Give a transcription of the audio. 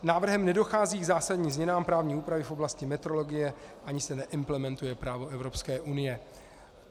Návrhem nedochází k zásadním změnám právní úpravy v oblasti metrologie ani se neimplementuje právo Evropské unie.